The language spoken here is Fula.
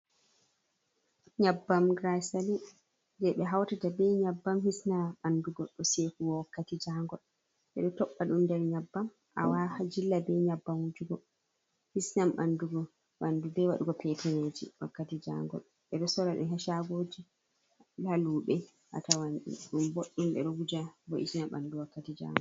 Nyebbam giraysalin jey ɓe hawtata be nyabbam, hisnam ɓanndu goɗɗo sekugo wakkati jaangol. Ɓe ɗo toɓɓa ɗum nder nyebbam, a jilla be nyabbam wujugo, hisnam ɓanndu goɗɗo be waɗugo peteneeji wakkati jaangol. Ɓe ɗo soora ɗi haa cagooji, haa luuɓe a tawan ɗum boɗɗum. Ɓe ɗo wuja wo'itina ɓanndu wakkati jaangol.